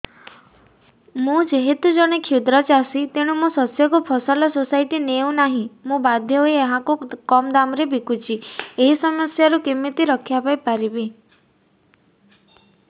ମୁଁ ଯେହେତୁ ଜଣେ କ୍ଷୁଦ୍ର ଚାଷୀ ତେଣୁ ମୋ ଶସ୍ୟକୁ ଫସଲ ସୋସାଇଟି ନେଉ ନାହିଁ ମୁ ବାଧ୍ୟ ହୋଇ ଏହାକୁ କମ୍ ଦାମ୍ ରେ ବିକୁଛି ଏହି ସମସ୍ୟାରୁ କେମିତି ରକ୍ଷାପାଇ ପାରିବି